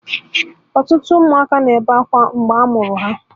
Ọtụtụ ụmụaka na-ebe akwa mgbe ha mụrụ ha.